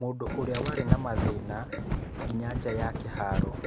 Mũndũ ũrĩa warĩ na mathĩna nginya nja ya kĩharo.